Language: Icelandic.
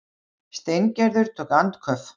Steingerður tók andköf.